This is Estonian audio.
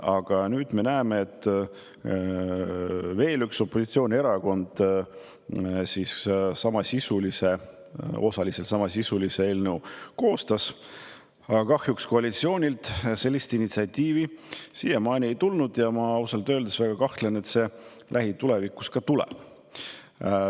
Aga nüüd me näeme, et veel üks opositsioonierakond koostas osaliselt samasisulise eelnõu, aga kahjuks koalitsioonilt initsiatiivi siiani ei ole tulnud ja ma ausalt öeldes väga kahtlen, et see ka lähitulevikus tuleb.